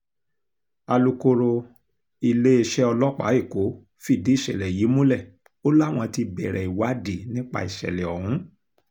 alūkkóró iléeṣẹ́ ọlọ́pàá èkó fìdí ìṣẹ̀lẹ̀ yìí múlẹ̀ o láwọn ti bẹ̀rẹ̀ ìwádìí nípa ìṣẹ̀lẹ̀ ọ̀hún